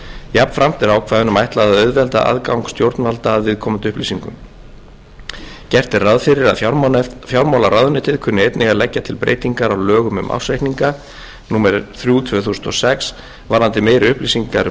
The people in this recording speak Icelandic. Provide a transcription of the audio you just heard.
jafnframt er ákvæðunum ætlað að auðvelda aðgang stjórnvalda að viðkomandi upplýsingum gert er ráð fyrir að fjármálaráðuneytið kunni einnig að leggja til breytingar á lögum um ársreikninga númer þrjú tvö þúsund og sex varðandi meiri upplýsingar um